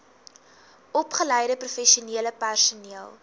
opgeleide professionele personeel